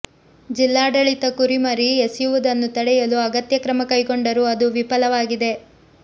ಜಿಲ್ಲಾಡಳಿತ ಕುರಿಮರಿ ಎಸೆಯುವುದನ್ನು ತಡೆಯಲು ಅಗತ್ಯ ಕ್ರಮ ಕೈಗೊಂಡರೂ ಅದು ವಿಫಲವಾಗಿದೆ